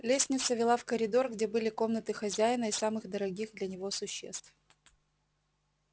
лестница вела в коридор где были комнаты хозяина и самых дорогих для него существ